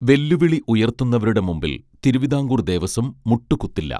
വെല്ലുവിളി ഉയർത്തുന്നവരുടെ മുൻപിൽ തിരുവിതാംകൂർ ദേവസ്വം മുട്ടുകുത്തില്ല